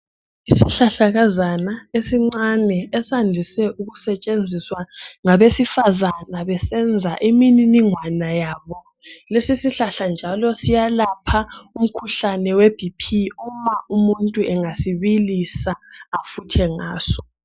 Isihlahlakazana esincane esandise ukusetshenziswa ngabesifazana besenza imininingwana yabo. Lesi sihlahla njalo siyalapha umkhuhlane we'BP'uma umuntu engasibilisa afuthe ngaso.